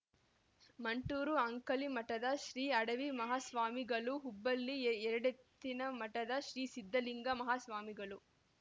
ಮಂಟೂರ ಅಂಕಲಿಮಠದ ಶ್ರೀ ಅಡವಿ ಮಾಹಾಸ್ವಾಮಿಗಳು ಹುಬ್ಬಳ್ಳಿ ಎ ಎರಡೆತ್ತಿನಮಠದ ಶ್ರೀ ಸಿದ್ದಲಿಂಗ ಮಾಹಾಸ್ವಾಮಿಗಳು